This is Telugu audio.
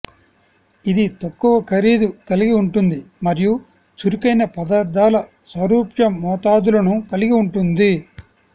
ఇది తక్కువ ఖరీదు కలిగి ఉంటుంది మరియు చురుకైన పదార్ధాల సారూప్య మోతాదులను కలిగి ఉంటుంది